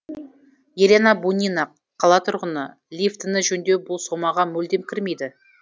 елена бунина қала тұрғыны лифтіні жөндеу бұл сомаға мүлдем кірмейді